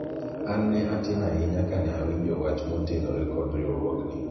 an ne atin ahinya kane awinjo wach motenore kod riwruogni